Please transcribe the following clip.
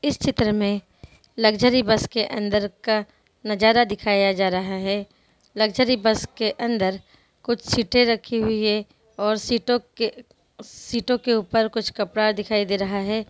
इस चित्र में लक्ज़री बस के अंदर का नजारा दिखाया जा रहा है| लक्ज़री बस के अंदर कुछ सेटरखी हुई है और सीटों के सीटों के ऊपर कुछ कपड़ा दिखाई दे रहा है।